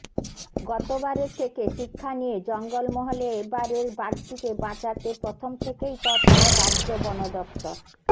গতবারের থেকে শিক্ষা নিয়ে জঙ্গল মহলে এবারের বাঘটিকে বাঁচাতে প্রথম থেকেই তৎপর রাজ্য বন দফতর